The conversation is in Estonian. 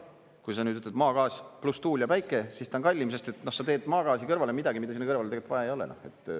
Kui sa nüüd ütled maagaas pluss tuul ja päike, siis ta on kallim, sest sa teed maagaasi kõrvale midagi, mida sinna kõrvale tegelikult vaja ei ole.